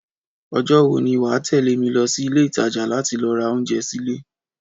Ọjọ́ wo ni wà á tẹ̀lé mi lọ sí Ilé-ìtajà láti lọ ra oúnjẹ sílé?